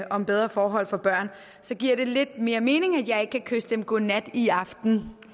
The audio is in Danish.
om bedre forhold for børn så giver det lidt mere mening at jeg ikke kan kysse dem godnat i aften